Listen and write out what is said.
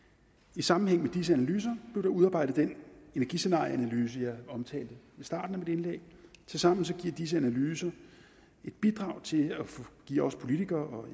i sammenhæng med disse analyser blev der udarbejdet den energiscenarieanalyse jeg omtalte i starten af mit indlæg tilsammen giver disse analyser et bidrag til at give os politikere